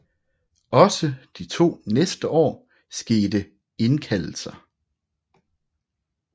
Også de to næste år skete indkaldelser